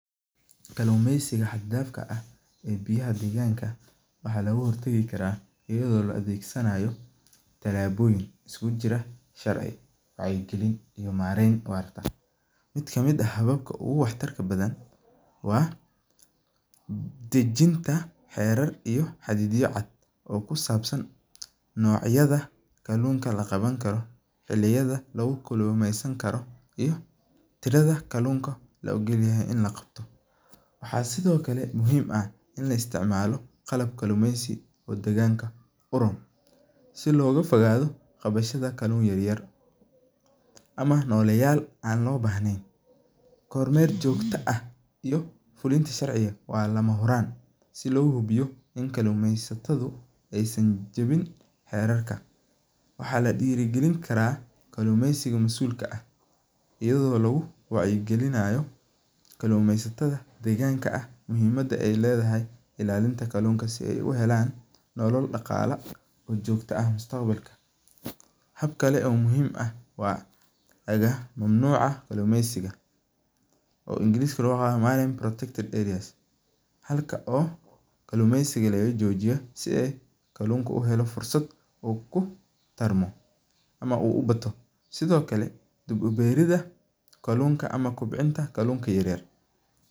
Kalumeysiga haad faadka ah ee biyaha deganka, waxa logahortagi karaa iyado laadegsanayo talaboyin iskukujira wacyi galin iyo maroyin, mid kamid ah hababka ogu waxtarka badan wa dejinta herar iyo hididyo cad oo kusabsan nocyada kalunka laqawankaro iyo hiliyada lagukulymeysankaro iyo tirada kalunka laogolyaxay i lagabto, waxa sidhokale muxiim ah in laisticmalo qalab kalumeysi oo daqanka iroon , si logafogado qabadha kalun yaryar, ama noleyal an lobahnen, kormel jogto ah iyo fulunta sharciga wa lamahuran, si lohubiyo in kalumeysatadu ay san jawin herarka, waxa ladirigalinkaraa kalumeysiga masulka ah, iyado laguwacyi galinayo kalumeysatada deganka ah, muxiimada ay ledaha ilalinta kalunta si ay uhelan nolol daqala oo jogto ah mustaqbalka, habkale oo muxiim ah wa ama mamnuc ah kalumeysiga, oo english loguyagano protected areas halka oo kalumeysiga lagajojiyo si u kalunka uhelo fursat uu kutarmo ama uu ubato, sidhokale diib uberida kalunta ama kobcinta kalunka yaryar.